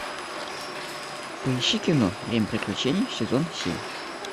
поищи кино время приключений сезон семь